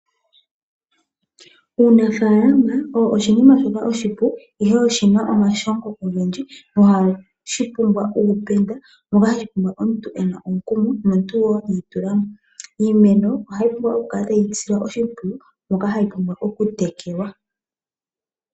Uunafaalama owo oshinima shoka oshipu, ihe oshi na omashongo ogendji nohashi pumbwa uupenda. Ohawu pumbwa omuntu e na omukumo nomuntu wo i itula mo. Iimeno ohayi pumbwa okukala tayi silwa oshimpwiyu, oshoka ohayi pumbwa okutekelwa.